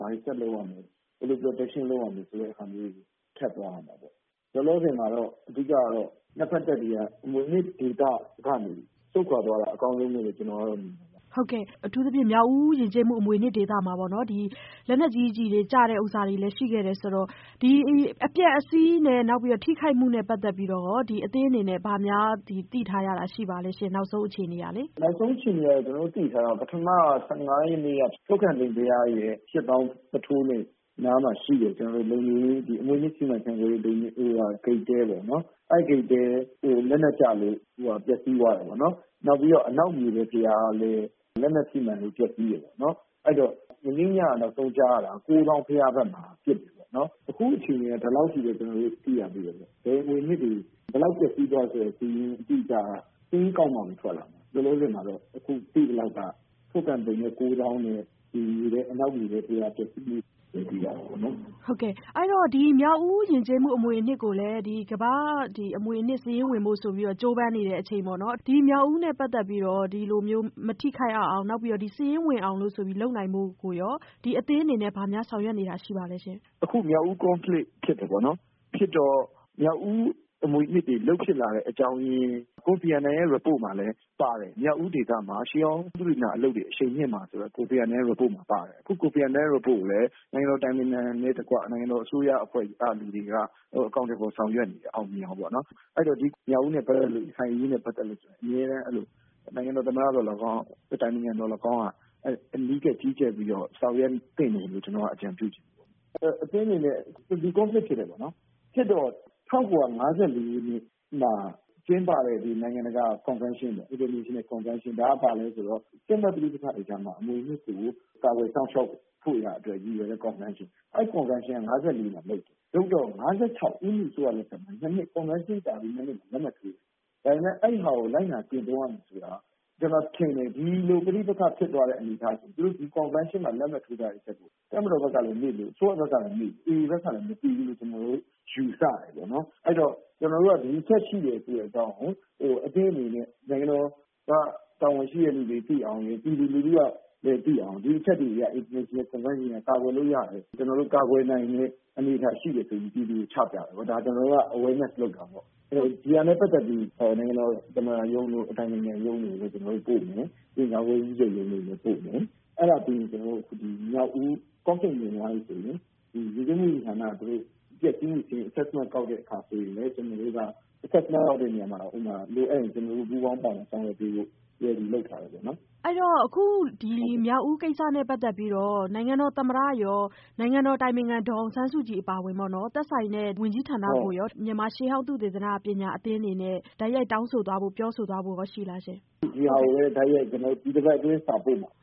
ဘာတွေဆက်လုပ်ရမယ်။ ဘယ်လို protection လုပ်ရမယ် ဆိုတာတွေ ဆက်သွားရမှာပေါ့နော်။ လောလောဆည်မှာတော့ အဓိကတော့ ၂ ဖက်တပ်တွေက မြောက်ဦးအမွေအနှစ်ဒေသကနေ စွန့်ခွာသွားတာ အကောင်းဆုံးလို့ ကျနော်ကတော့ မြင်ပါတယ်။ မဆုမွန်။ ။အထူးသဖြင့် မြောက်ဦးယဉ်ကျေးမှု အမွေအနှစ်ဒေသမှာပေါ့နော် လက်နက်ကြီး တွေကျတာလည်း ရှိခဲ့တယ်ဆိုတော့ ဒီအပျက်အစီးနဲ့ ထိခိုက်မှုနဲ့ ပတ်သက်ပြီးတော့ ဒီအသင်းအနေနဲ့ ဘာများ သိထားတာရှိပါသလဲ။ ကိုသူရအောင်။ ။နောက်ဆုံးအခြေအနေကတော့ ကျနော်တို့ သိထားတာကတော့ ပထမက ထုက္ကန်သိမ်ပုထိုးအနီးတွင်တည်ရှိတဲ့ အမွေအနှစ်ထိန်းသိမ်းရေး ဂိတ်တဲ ပေါ့နော် အဲဒီမှာ လက်နက်ကျလို့ ပျက်စီးသွားတယ်ပေါ့နော်။ နောက်ပြီးတော့ အနောက်မြေထဲဘုရားလည်း လက်နက်ထိမှန်လို့ ပျက်စီးတယ်ခင်ဗျ အဲဒီတော့ နောက်ဆုံးကြားရတာက ကိုးသောင်းဘုရားနားမှာ ဒီလောက်အထိပဲ ကျနော်တို့ သိရသေးတယ်။ အမွေအနှစ်တွေ ဘယ်လောက်ပျက်စီးသွားတယ်ဆိုတဲ့ စာရင်းအတိအကျတော့ ကောက်မှ ထွက်လာမယ်။ လောလောဆည်မှာတော့ သိသလောက်က ထုက္ကန်သိမ်ပုထိုး နှင့် အနောက် မြေထဲဘုရား ပျက်စီးတယ်လို့ပဲ သိရတာပေါ့နော်။ မဆုမွန်။ ။ အဲဒီတော့ မြောက်ဦးယဉ်ကျေးမှု အမွေအနှစ်ကို ကမ္ဘာ့အမွေအနှစ်စာရင်း ဝင်ဖို့ ကြိုးပမ်းနေတဲ့အချိန် မြောက်ဦးနဲ့ ပတ်သက်ပြီးတော့ ဒီလိုမျိုး မထိခိုက်ရအောင် နောက်ပြီးတော့ စာရင်းဝင်နိုင်ဖို့ဆိုပြီး လုပ်နိုင်ဖို့ကိုရော အသင်းအနေနဲ့ ဘာများဆောင်ရွက်နေတာ ရှိပါသလဲ။ ကိုသူရအောင်။ ။အခုမြောက်ဦး Conflict ဖြစ်တယ်ပေါေ့နာ် ။ ဖြစ်တော့ မြောက်ဦး အမွေအနှစ်တွေ လုပ်ဖြစတဲ့ အကြောင်းအရင် ကိုဖီအာနန်ရဲ့ report မှာလည်းပါတယ်။ မြောက်ဦးဒေသမှာ ရှေးဟောင်းသုတေသနတွေ အရှိန်မြှင့်ဖို့အတွက် ပါတယ်။ အခုကိုဖီအာနန်ရဲ့ report ကိုလည်း နိုင်ငံတော်အတိုင်ပင်ခံနှင့်တကွ နိုင်ငံတော်အစိုးရအဖွဲ့ ကလူတွေက အကောင်အထည်ဖော်ဆောင်ရွက်နေတယ် အောင်မြင်အောင်ပေ့ါနော်။ ဒီမြောက်ဦးနဲ့ ပတ်သက်လို့ ရခိုင်အရေးနဲ့ ပတ်သက်ရင် အမြဲတမ်း နိုင်ငံတော် သမ္မတ သော်လည်းကောင်း နိုင်ငံတော်အတိုင်ပင်ခံ သော်လည်းကောင်းက အနီးကပ် ကြီးကြပ်ပြီးတော့ ဆောင်ရွက်သင့်တယ်လို့ အကြံပြုချင်တယ်။ အခု Conflict ဖြစ်တယ်ပေါေ့နာ် ၁၉၅၄ မှာ ကျင်းပတဲ့ နိုင်ငံတကာ ကွန်ဗန်းရှင်း ဒါက ဘာလဲဆိုတော့ စစ်ပွဲတွေကြားမှာ အမွေအနှစ် တွေကို ကာကွယ်စောင့်ရှောက်ဖို့ရန် ရည်ရွယ်တဲ့ ကွန်ဗန်းရှင်း ၊ အဲဒါက ၅၄ မှာ လုပ်တယ် လုပ်တော့ ၅၆ မှာ ကွန်ဗန်းရှင်းလုပ်ပြီး ၂ နှစ်အကြာမှာ လက်မှတ်ထိုးတယ် ဒါပေမယ့် အဲဒါကို လိုက်နာကျင့်သုံးရမယ့် ကျနော်ထင်တယ် ဒီလို ပဋိပက္ခဖြစ်တဲ့အနေအထားမှာ သူတို့ ကွန်ဗန်းရှင်းမှာ လက်မှတ်ထိုးထားတဲ့ အချက်ကို တပ်မတော်ဘက်ကလည်း မေ့သလို၊ အစိုးရဘက်ကလည်း မေ့တယ် AA ဘက်ကလည်း မသိဘူးလို့ ကျနော်တို့ ယူဆတယ်ပေါ့နော်။ ကျနော်တို့က ဒါရှိတယ်ဆိုတဲ့အကြောင်းကို အသင်းအနေနဲ့ နိုင်ငံတော်အစိုးရ နဲ့ တာဝန်ရှိသူတွေ သိအောင် ၊ ပြည်သူတွေသိအောင် ဒီအချက်တွေနဲ့ ကာကွယ်လို့ ရတယ်၊ ကာကွယ်နိုင်တဲ့အနေအထားရှိတာကို ကျနော်တို့ ပြည်သူကို ချပြတယ်။ ဒါကျနော်တို့က awareness လုပ်တာပေါ့နော်။ ဆိုတော့ ဒါနဲ့ ပတ်သက်ပြီး နိုင်ငံတော် သမ္မတရုံးတို့ အတိုင်ပင်ခံရုံးတို့ ကို ကျနော်တို့ပို့မယ်။ ဝန်ကြီးချုပ်ရုံးလည်းပို့မယ် အဲဒါပြီးရင် မြောက်ဦး conflict ငြိမ်သွားပြီဆိုရင် ယဉ်ကျေးမှုဝန်ကြီးဌာနက အပျက်အစီးစာရင်းကောက်တဲ့နေရာမှာ လိုအပ်ရင် ကျနော်တို့ ပူးပေါင်းဆောင်ရွက်ဖို့ လုပ်ထားတယ်ခင်ဗျ။ မဆုမွန်။ ။အခုမြောက်ဦးကိစ္စနဲ့ ပတ်သက်ပြီး နိုင်ငံတော် သမ္မတရော၊ နိုင်ငံတော်အတိုင်ပင်ခံ ဒေါ်အောင်ဆန်းစုကြည်အပါအဝင်ပေါ့နော် သက်ဆိုင်တဲ့ ဝန်ကြီးဌာနကိုရော မြန်မာရှေးဟောင်း သုတေသနပညာအသင်းအနေနဲ့ တိုက်ရိုက်တောင်းဆိုသွားဖို့ ရှိလားရှင့်။ ကိုသူရအောင်။ ။ဒါကိုလည်း တိုက်ရိုက် ကျနော်တို့ ဒီတပတ်အတွင်းမှာ ပို့မှာ ။